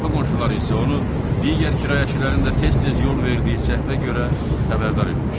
Qapı qonşuları isə onu digər kirayəçilərin də tez-tez yol verdiyi səhvə görə xəbərdar etmişdi.